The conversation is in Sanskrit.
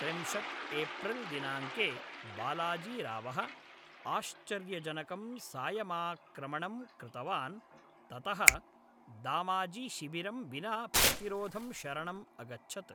त्रिंशत् एप्रिल्दिनाङ्के, बालाजीरावः आश्चर्यजनकं सायमाक्रमणं कृतवान्, ततः दामाजीशिबिरं विना प्रतिरोधं शरणम् अगच्छत्।